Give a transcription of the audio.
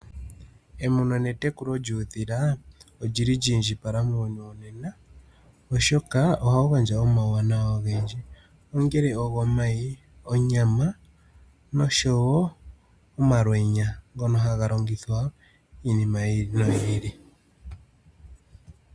Emuno netekulo lyuudhila olili lyi indjipala muuyuni wonena oshoka ohawu gandja omauwanawa ogendji ongele ogo mayi, onyama noshowo omalwenya ngono haga longithwa iinima yi ili noyi ili.